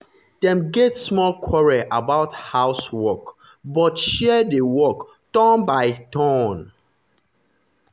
dem get small quarrel about house work but share the work turn by turn.